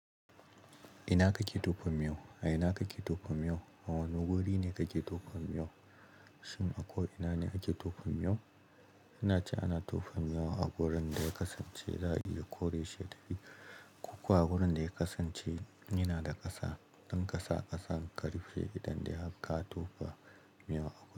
Ina kake tofa miyo? A ina kake tofa miyo? A wane wuri ne kake tofa miyo? Shin ako ina ne ake tofa miyo? Ina ce ana tofa miyo a wurin da ya kasance za a iya kore shi da fi. Kuka wurin da ya kasance, yana da ƙasa. Don ƙasa ƙasan ka rufe idan dai har ka tofa miyo a gu.